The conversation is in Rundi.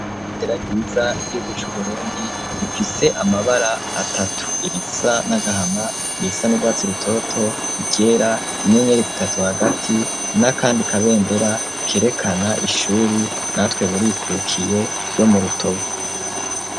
Rendera ryiza ryuguc'uburundi ifise amabara atatu irisa n'agahama irisa n'urwatsi rutoto igera inyeneri zitazo hagati na, kandi kabendera kerekana ishuri natwe burikuurukiye yo mu rutovu.